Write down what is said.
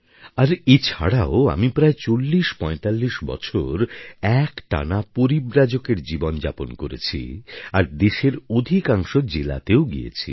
আর এ ছাড়াও আমি প্রায় 4045 বছর একটানা পরিব্রাজকের জীবন যাপন করেছি আর দেশের অধিকাংশ জেলাতেও গিয়েছি